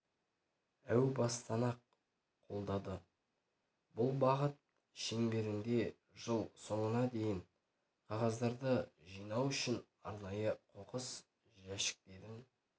әу бастан-ақ қолдады бұл бағыт шеңберінде жыл соңына дейін қағаздарды жинау үшін арнайы қоқыс жәшіктерін